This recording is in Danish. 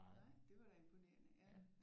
Nej det var da imponerende